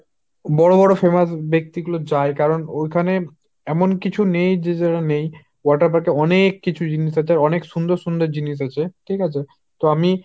বড় বড় famous ব্যাক্তি গুলো যায় কারন ওইখানে এমন কিছু নেই যে যেটা নেই। water park এ অনেক কিছু জিনিস আছে আর অনেক সুন্দর সুন্দর জিনিস আছে, ঠিক আছে।